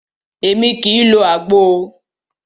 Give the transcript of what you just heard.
Émi kìí lo àgbo o.